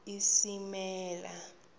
isilimela